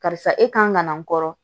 Karisa e kan ka na n kɔrɔ